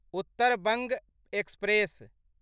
Uttar Banga express